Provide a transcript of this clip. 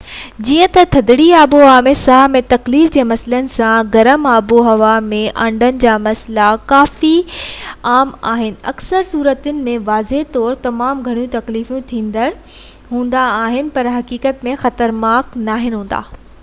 جئين ٿڌڙي آبهوائن ۾ ساهه ۾ تڪليف جي مسئلن سان گرم آبهوائن ۾ آنڊن جا مسئلا ڪافي عام آهن ۽ اڪثر صورتن ۾ واضح طور تمام گهڻا تڪليف ڏيندڙ هوندا آهن پر حقيقت ۾ خطرناڪ ناهن هوندا